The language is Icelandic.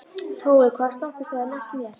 Tói, hvaða stoppistöð er næst mér?